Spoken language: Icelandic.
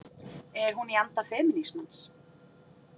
Er hún í anda femínismans?